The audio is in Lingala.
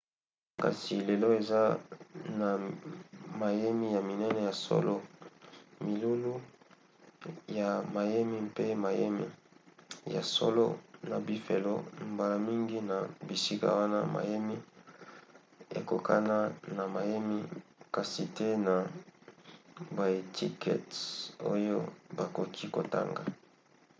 kasi lelo eza na mayemi ya minene ya solo milulu ya mayemi mpe mayemi ya solo na bifelo. mbala mingi na bisika wana mayemi ekokanaka na mayemi kasi te na baetikete oyo bakoki kotanga